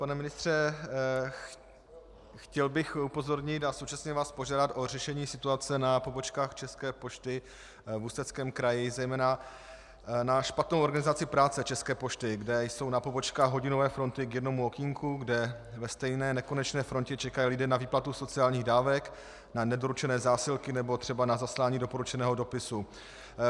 Pane ministře, chtěl bych upozornit a současně vás požádat o řešení situace na pobočkách České pošty v Ústeckém kraji, zejména na špatnou organizaci práce České pošty, kde jsou na pobočkách hodinové fronty k jednomu okénku, kde ve stejné nekonečné frontě čekají lidé na výplatu sociálních dávek, na nedoručené zásilky nebo třeba na zaslání doporučeného dopisu.